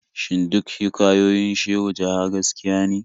Shin duk hikayoyin Shehu Jaha gaskiya ne?